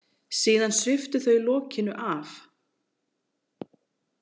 Síðan sviptu þau lokinu af.